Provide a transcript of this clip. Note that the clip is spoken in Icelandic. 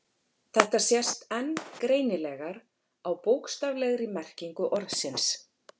Þetta sést enn greinilegar á bókstaflegri merkingu orðsins.